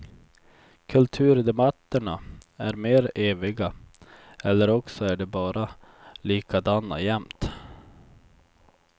Kulturdebatterna är mer eviga, eller också är de bara likadana jämt.